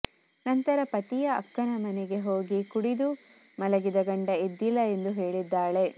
ನಂತರ ಪತಿಯ ಅಕ್ಕನ ಮನೆಗೆ ಹೋಗಿ ಕುಡಿದು ಮಲಗಿದ ಗಂಡ ಎದ್ದಿಲ್ಲ ಎಂದು ಹೇಳಿದ್ದಾಳೆ